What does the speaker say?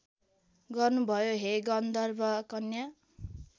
गर्नुभयो हे गन्धर्वकन्या